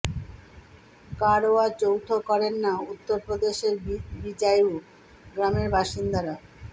কারওয়া চৌথ করেন না উত্তর প্রদেশের বিজায়ু গ্রামের বাসিন্দারা